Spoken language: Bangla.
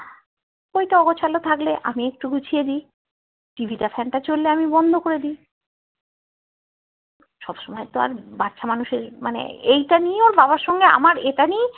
বইটা অগোছালো থাকলে আমি একটু গুছিয়ে দিই TV টা fan টা কোলে আমি বন্ধ করে দিই সব সময় তো আর বাচ্চা মানুষের মানে এইটা নিয়ে ওর বাবার সঙ্গে আমার এটা নিয়েই